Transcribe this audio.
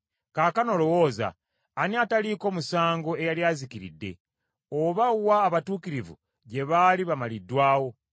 “Kaakano lowooza; ani ataliiko musango eyali azikiridde? Oba wa abatuukirivu gye baali bamaliddwawo?